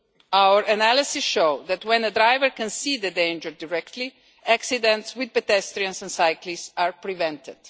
Our analyses show that when a driver can see the danger directly, accidents with pedestrians and cyclists are prevented.